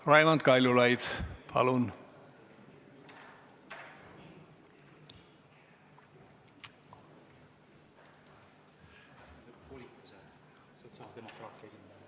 Raimond Kaljulaid, palun!